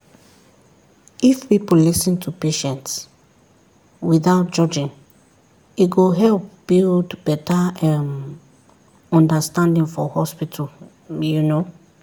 if people lis ten to patients without judging e go help build better um understanding for hospital um